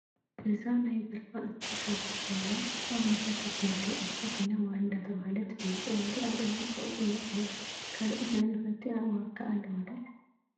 እዛ ናይ ናይ በረካ እንስሳት ሓንቲ ኮይና ኣብ ነፈርቲ እትመደብ እንስሳ ኮይና ዋሪ እንዳተባሃለት ትፍለጥ ዋሪ ኣብ እዋን ቀውዒ እያ ትመፅእ። ካልኦት ናይ ነፈርቲ ኣእዋፍ ከ ኣለዋ ዶ?